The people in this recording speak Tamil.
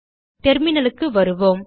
terminalக்கு வருவோம்